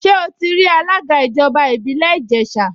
Ṣé ó ti rí alága ìjọba ìbílẹ̀ Ìjẹ̀ṣà?